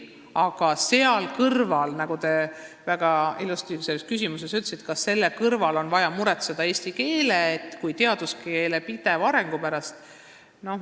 Aga kas selle kõrval, nagu te väga ilusasti küsimuses ütlesite, on vaja muretseda eesti keele kui teaduskeele pideva arengu pärast?